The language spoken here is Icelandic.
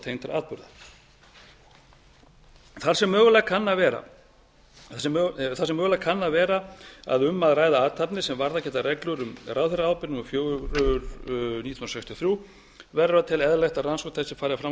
tengdra atburða þar sem mögulega kann að vera að um að ræða athafnir sem varðað geta reglur laga um ráðherraábyrgð númer fjögur nítján hundruð sextíu og þrjú verður að telja eðlilegt að rannsókn þessi fari fram á